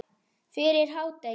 Fyrir hádegi.